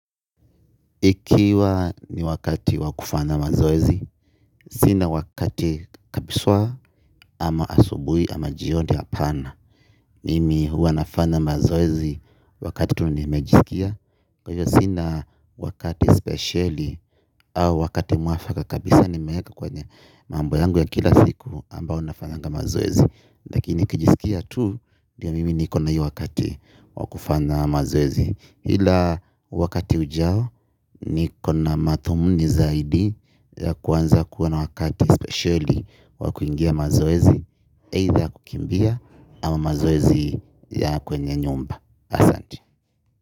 Ikiwa ni wakati wa kufanya mazoezi, sina wakati kabisa. Ama asubuhi ama jioni hapana, mimi huwa nafana mazoezi wakati tu nimejisikia, kwa hiyo sina wakati spesheli au wakati mwafaka kabisa nimeweka kwenye mambo yangu ya kila siku ambao nafanyanga mazoezi, lakini nikijisikia tu ndio mimi nikona hiyo wakati wa kufanya mazoezi. Ila wakati ujao niko na madhumuni zaidi ya kuanza kuwa na wakati spesheli wa kuingia mazoezi, either kukimbia ama mazoezi ya kwenye nyumba. Asante.